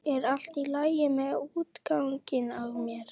Er allt í lagi með útganginn á mér?